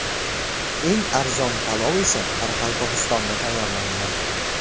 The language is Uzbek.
Eng arzon palov esa Qoraqalpog‘istonda tayyorlangan.